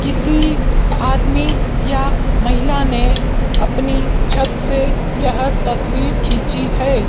किसी आदमी या महिला ने अपनी छत से यह तस्वीर खिंची है।